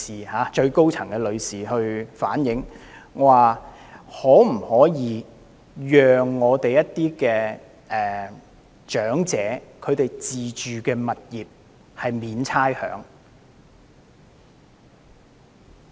是最高層的女士建議，可否寬免一些長者自住物業的差餉。